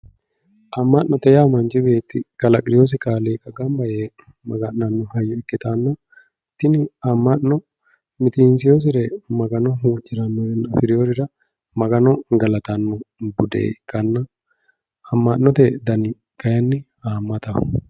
ama'note yaa manchi beetti kalaqioosi kaliiqa gamba yee maga'nanno hayyo ikkitanna tini ama'no mitiinsiyoosire magano huuciranonna afriyoorira magano galatanno bude ikkanna ama'note dani kaayiinni haamataho.